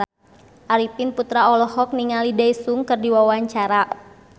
Arifin Putra olohok ningali Daesung keur diwawancara